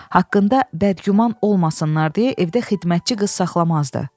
Haqqında bədgüman olmasınlar deyə evdə xidmətçi qız saxlamazdı.